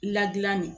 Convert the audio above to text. Ladilan de